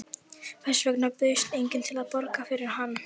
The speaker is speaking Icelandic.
Hvers vegna bauðst enginn til að borga fyrir hann?